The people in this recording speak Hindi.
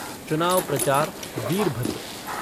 चुनाव प्रचार वीरभद्र